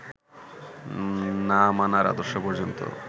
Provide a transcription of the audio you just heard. না-মানার আদর্শ পর্যন্ত